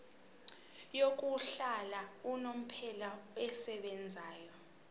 yokuhlala unomphela esebenzayo